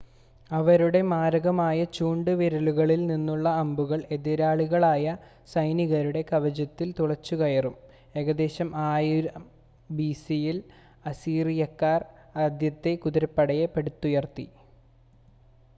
അവരുടെ മാരകമായ ചൂണ്ട് വില്ലുകളിൽ നിന്നുള്ള അമ്പുകൾ എതിരാളികളായ സൈനികരുടെ കവചത്തിൽ തുളച്ചുകയറും ഏകദേശം 1000 ബിസിയിൽ അസീറിയക്കാർ ആദ്യത്തെ കുതിരപ്പടയെ പടുത്തുയർത്തി